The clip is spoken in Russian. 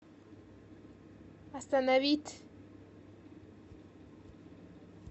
остановить